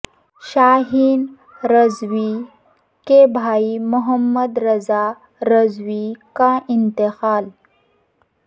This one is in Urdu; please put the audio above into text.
شاہین رضوی کے بھائی محمد رضا رضوی کا انتقال